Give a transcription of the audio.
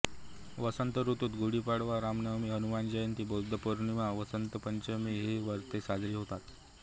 वसंत ऋतूत गुढीपाडवा रामनवमी हनुमान जयंती बुद्ध पौर्णिमा वसंत पंचमी ही व्रते साजरी होतात